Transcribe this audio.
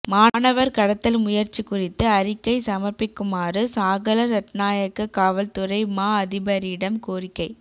மாணவர் கடத்தல் முயற்சி குறித்து அறிக்கை சமர்ப்பிக்குமாறு சாகல ரட்நாயக்க காவல்துறை மா அதிபரிடம் கோரிக்கை